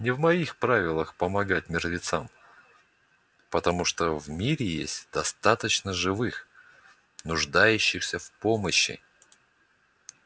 не в моих правилах помогать мертвецам потому что в мире есть достаточно живых нуждающихся в помощи